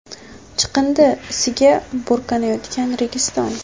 Chiqindi isiga burkanayotgan Registon.